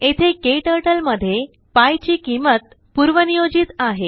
येथेकेटरटलमध्येpiचीकिंमतपूर्वनियोजित आहे